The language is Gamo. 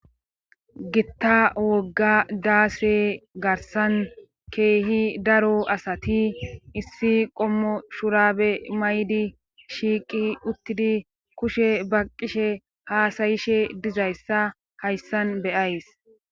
Gitta wogga daase garsan keehi daro asati issi qommo shurabe maydi shiiqi uttidi kushe ba qishe haasayishe dizayssa hayssan beyays